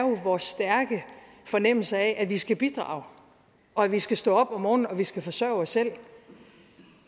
vores stærke fornemmelse af at vi skal bidrage og at vi skal stå op om morgenen og skal forsørge os selv